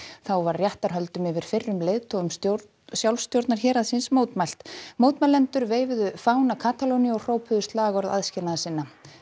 þá var réttarhöldum yfir fyrrum leiðtogum sjálfstjórnarhéraðsins mótmælt mótmælendur veifuðu fána Katalóníu og hrópuðu slagorð aðskilnaðarsinna